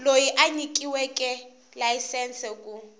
loyi a nyikiweke layisense ku